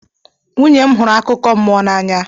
Nwunye m hụrụ akụkọ mmụọ n'anya.